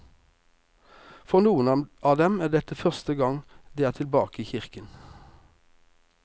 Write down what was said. For noen av dem er dette første gang de er tilbake i kirken.